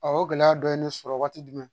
o gɛlɛya dɔ ye ne sɔrɔ waati jumɛn